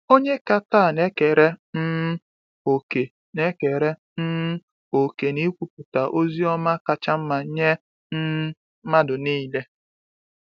Ònye ka taa na-ekere um òkè na-ekere um òkè n’ikwupụta ozi ọma kacha mma nye um mmadụ niile?